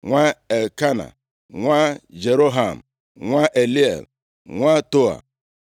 nwa Elkena, nwa Jeroham, nwa Eliel, nwa Toa,